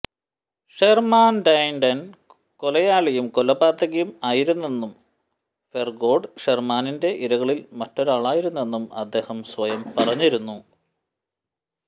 ഷെർമാന്റൈൻ കൊലയാളിയും കൊലപാതകിയും ആയിരുന്നെന്നും ഹെർസോഗ് ഷെർമാന്റൈന്റെ ഇരകളിൽ മറ്റൊരാളിയാണെന്നും അദ്ദേഹം സ്വയം പറഞ്ഞിരുന്നു